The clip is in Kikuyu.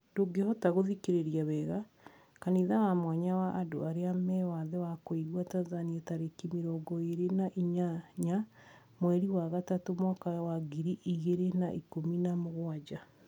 Ndungihota guthikiriria wega, Kanitha wa mwanya wa andũ arĩa me wathe wa kũigua Tanzania tariki mirongo iri na inyanya mweri wa gatatu mwaka wa ngiri igiri na ikumi na mugwanja